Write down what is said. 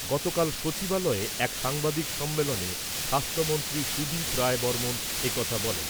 গতকাল সচিবালয়ে এক সাংবাদিক সম্মেলনে স্বাস্থ্যমন্ত্রী সুদীপ রায় বর্মন একথা বলেন।